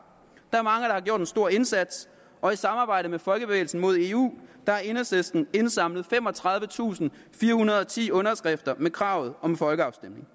gjort en stor indsats og i samarbejde med folkebevægelsen mod eu har enhedslisten indsamlet femogtredivetusinde og firehundrede og ti underskrifter med kravet om en folkeafstemning